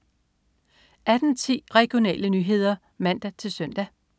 18.10 Regionale nyheder (man-søn)